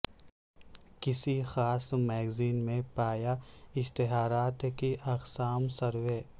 کسی خاص میگزین میں پایا اشتہارات کی اقسام سروے